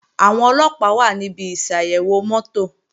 Àwọn Ọlọ́pàá wà níbi ìsàyẹ̀wò mọ́tò